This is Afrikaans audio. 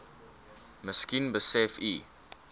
miskien besef u